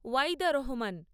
Waidar Rahman